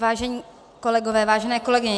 Vážení kolegové, vážené kolegyně.